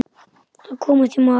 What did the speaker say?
Að komast í mark